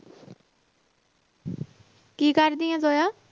ਕੀ ਕਰਦੀ ਹੈ ਜੋਇਆ?